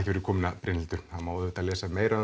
fyrir komuna Brynhildur það má lesa meira